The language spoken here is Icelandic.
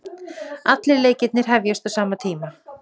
Allir leikirnir hefjast á sama tíma